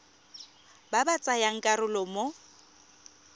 ba ba tsayang karolo mo